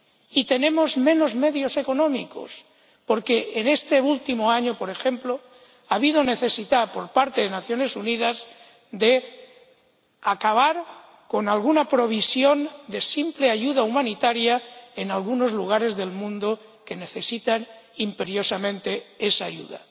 Y tenemos menos medios económicos, porque en este último año, por ejemplo, ha habido necesidad por parte de las Naciones Unidas de acabar con alguna provisión de simple ayuda humanitaria en algunos lugares del mundo que necesitan imperiosamente esa ayuda.